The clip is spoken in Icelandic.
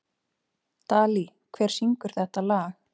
Dalí, hver syngur þetta lag?